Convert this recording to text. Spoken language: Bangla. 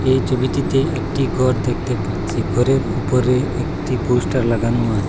এই ছবিটিতে একটি ঘর দেখতে পাচ্ছি ঘরের উপরে একটি পোস্টার লাগানো আছে।